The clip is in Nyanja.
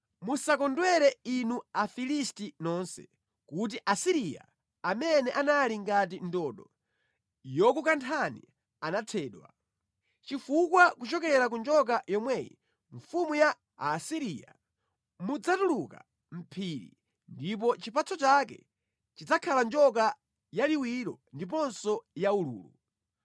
Musakondwere inu Afilisti nonse kuti Asiriya amene anali ngati ndodo yokukanthani anathedwa; chifukwa kuchokera ku njoka yomweyi (mfumu ya Aasiriya) mudzatuluka mphiri, ndipo chipatso chake chidzakhala njoka yaliwiro ndiponso yaululu.